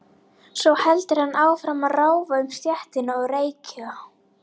Svo heldur hann áfram að ráfa um stéttina og reykja.